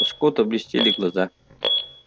у скотта блестели глаза